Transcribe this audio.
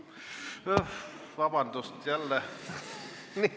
Vabandust!